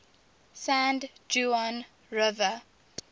san juan river